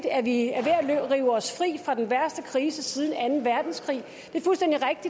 at vi er ved at rive os fri fra den værste krise siden anden verdenskrig